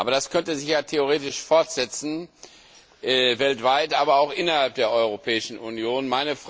Das könnte sich theoretisch fortsetzen, weltweit, aber auch innerhalb der Europäischen Union.